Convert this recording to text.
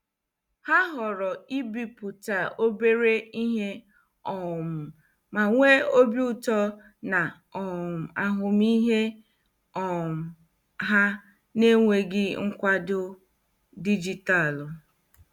Ha họọrọ ibipụta obere ihe um ma nwee obi ụtọ na um ahụmịhe um ha n'enweghị nkwado dijitalụ.